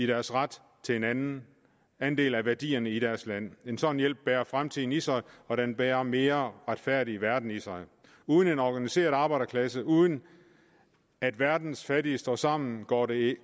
deres ret til en andel af værdierne i deres land en sådan hjælp bærer fremtiden i sig og den bærer en mere retfærdig verden i sig uden en organiseret arbejderklasse uden at verdens fattige står sammen går det